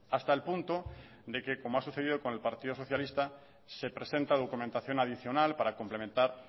hasta el punto de que como ha sucedido con el partido socialista se presenta documentación adicional para complementar